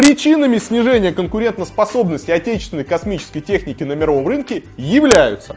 причинами снижения конкурентоспособности отечественной космической техники на мировом рынке являются